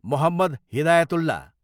Mohammad Hidayatullah